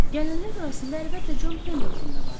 Gələnlər arasında əlbəttə Con Pendelton da vardı.